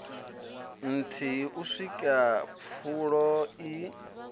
nthihi u swika pfulo i